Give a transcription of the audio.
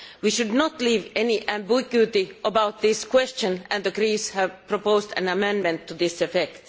We should not leave any ambiguity about this question and the Greens have proposed an amendment to this effect.